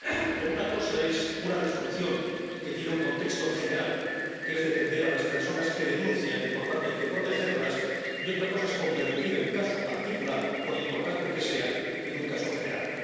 Pero una cosa es una Resolución que tiene un contexto general —que es defender a las personas que denuncian y, por lo tanto, protegerlas— y otra cosa es convertir el caso particular, por importante que sea, en un caso general.